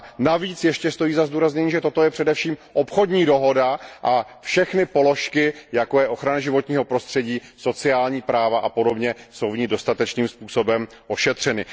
Navíc stojí ještě za zdůraznění, že toto je především obchodní dohoda a všechny položky, jako je ochrana životního prostředí, sociální práva a podobně, jsou v ní dostatečným způsobem ošetřeny.